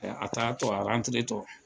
Ɛɛ a taa tɔ a arantire tɔ